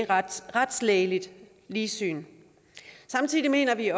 retslægeligt ligsyn samtidig mener vi